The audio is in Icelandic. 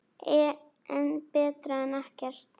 En betra en ekkert.